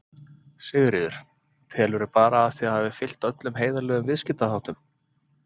Sigríður: Telurðu bara að þið hafið fylgt öllum heiðarlegum viðskiptaháttum?